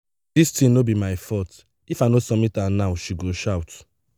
dis thing no be my fault if i no submit am now she go shout.